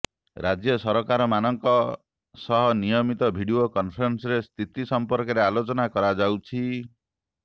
ରାଜ୍ୟ ସରକାରମାନଙ୍କ ସହ ନିୟମିତ ଭିଡିଓ କନ୍ଫରେନ୍ସରେ ସ୍ଥିତି ସଂପର୍କରେ ଆଲୋଚନା କରାଯାଉଛି